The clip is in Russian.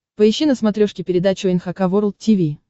поищи на смотрешке передачу эн эйч кей волд ти ви